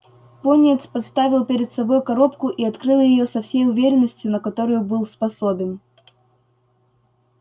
пониетс поставил перед собой коробку и открыл её со всей уверенностью на которую был способен